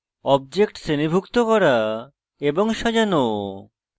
objects শ্রেণীভুক্ত করা এবং সাজানো